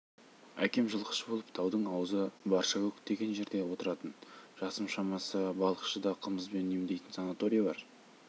әкем жылқышы болып таудың аузы баршакөк деген жерде отыратын жасым шамасы балықшыда қымызбен емдейтін санаторий бар